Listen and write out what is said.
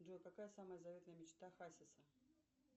джой какая самая заветная мечта хасиса